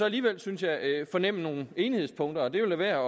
alligevel synes jeg fornemme nogle enighedspunkter og det er da værd